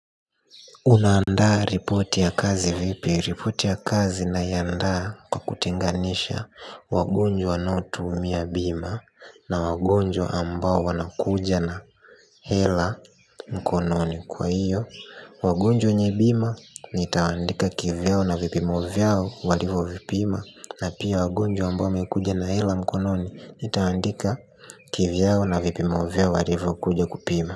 Una andaa ripoti ya kazi vipi? Ripoti ya kazi na iandaa kwa kutenganisha wagonjwa wanaotumia bima na wagonjwa ambao wanakuja na hela mkononi kwa hiyo wagonjwa nye bima nitawandika kivyo na vipimovyo walivo vipima na pia wagonjwa ambao mekuja na hela mkononi nitawandika kivyo na vipimovyo walivo kuja kupima.